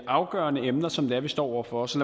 afgørende emner som vi står over for så